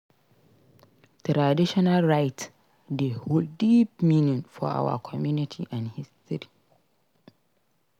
Traditional rites dey hold deep meaning for our community and history.